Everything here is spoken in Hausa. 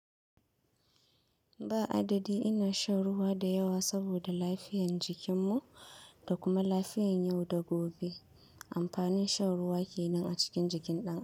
Ba adadi ina shan ruwa da yawa saboda lafiyan jikin mu da kuma lafiyan yau da gobe. Amfanin shan ruwa kenan a cikin jikin ɗan adam.